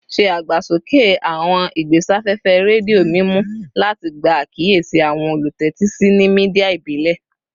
Se agbasoke awọn igbesafefe redio mimu lati gba akiyesi awọn olutẹtisi ni media ibile